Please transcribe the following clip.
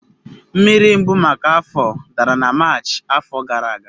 Mmiri mbụ maka afọ dara na Maachị afọ gara aga.